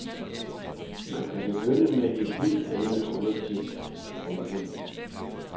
Man kan begynde med en helt anden undertekst. punktum